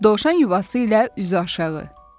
Dovşan yuvası ilə üzü aşağı.